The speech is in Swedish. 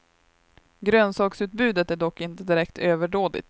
Grönsaksutbudet är dock inte direkt överdådigt.